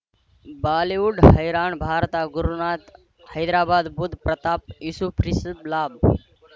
Bollywood ಹೈರಾಣ್ ಭಾರತ ಗುರುನಾಥ್ ಹೈದರಾಬಾದ್ ಬುಧ್ ಪ್ರತಾಪ್ ಯೂಸುಫ್ ರಿಷಬ್ ಲಾಭ್